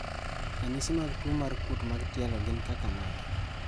Ranyisi mag tuo mar kuot mar tielo gin kaka mage?